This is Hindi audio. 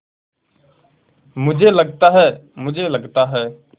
मुझे लगता है मुझे लगता है